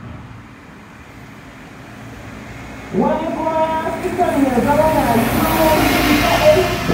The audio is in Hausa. Wani kuma ya fi son ya zauna shiru shi kaɗai.